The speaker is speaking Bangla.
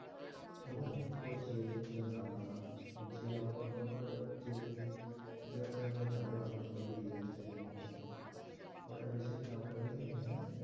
তখন থেকেই আমি করছি এই জিনিসটা ভালো আর যে আমাকে phone করে যেজন তাকেও আমি বলি এই জিনিসটা নিয়ে নিতে ওরা বেশিরভাগ আমার কাছ থেকেই নিয়ে নেয়।